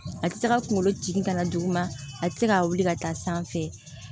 A tɛ se ka kunkolo jigin ka na duguma a tɛ se ka wuli ka taa sanfɛ